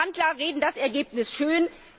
Die Verhandler reden das Ergebnis schön.